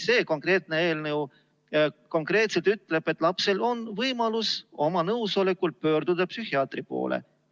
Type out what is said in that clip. See konkreetne eelnõu ütleb, et lapsel on võimalus oma nõusolekul pöörduda psühhiaatri poole.